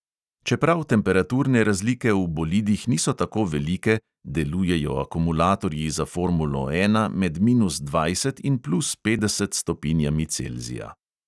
Čeprav temperaturne razlike v bolidih niso tako velike, delujejo akumulatorji za formulo ena med minus dvajset in plus petdeset stopinjami celzija.